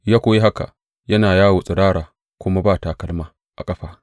Ya kuwa yi haka, yana yawo tsirara kuma ba takalma a ƙafa.